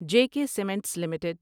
J K cements limited